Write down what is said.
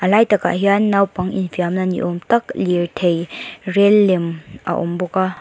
lai takah hian naupang infiamna ni âwm tak lirthei rêl lem a awm bawk a.